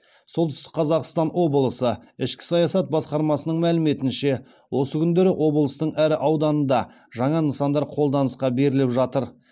солтүстік қазақстан облысы ішкі саясат басқармасының мәліметінше осы күндері облыстың әр ауданында жаңа нысандар қолданысқа беріліп жатыр